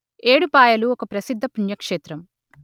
ఏడుపాయలు ఒక ప్రసిద్ద పుణ్యక్షేత్రం